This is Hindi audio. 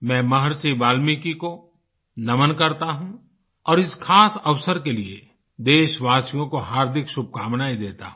मैं महर्षि वाल्मीकि को नमन करता हूँ और इस खास अवसर के लिए देशवासियों को हार्दिक शुभकामनायें देता हूँ